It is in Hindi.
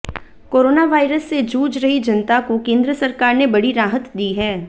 कोरोना वायरस से जूझ रही जनता को केंद्र सरकार ने बड़ी राहत दी है